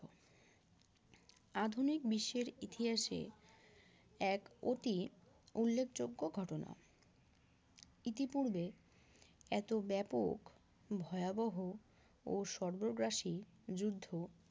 আধুনিক বিশ্বের ইতিহাসে এক অতি উল্লেখযোগ্য ঘটনা, ইতিপূর্বে এত ব্যাপক ভয়াবহ ও সর্গগ্রাসী যুদ্ধ